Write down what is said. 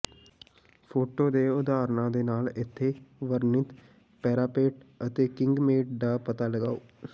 photo ਦੇ ਉਦਾਹਰਣਾਂ ਦੇ ਨਾਲ ਇੱਥੇ ਵਰਣਿਤ ਪੈਰਾਪੇਟ ਅਤੇ ਕਿੰਗਮੈਂਟ ਦਾ ਪਤਾ ਲਗਾਓ